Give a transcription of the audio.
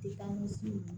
I ni su